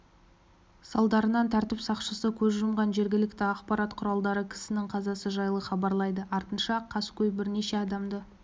салдарынан тәртіп сақшысы көз жұмған жергілікті ақпарат құралдары кісінің қазасы жайлы хабарлайды артынша қаскөй бірнеше адамды